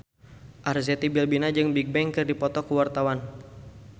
Arzetti Bilbina jeung Bigbang keur dipoto ku wartawan